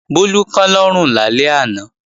Bólú kán lọ́rùn lálẹ́ àná